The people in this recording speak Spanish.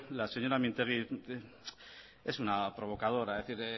la señora mintegi es una provocadora es decir